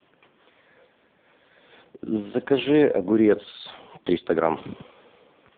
закажи огурец триста грамм